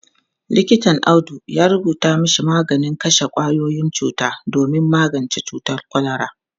Likitan Audu ya rubuta mashi maganin kashe kwayoyin cuta domin magance cutar kwalara.